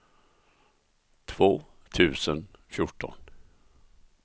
två tusen fjorton